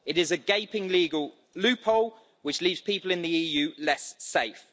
It is a gaping legal loophole which leaves people in the EU less safe.